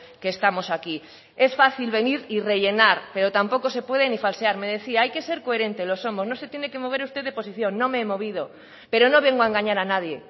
que estamos aquí es fácil venir y rellenar pero tampoco se puede ni falsear me decía hay que ser coherente lo somos no se tiene que mover usted de posición no me he movido pero no vengo a engañar a nadie